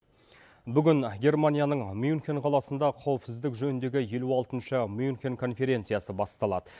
бүгін германияның мюнхен қаласында қауіпсіздік жөніндегі елу алтыншы мюнхен конференциясы басталады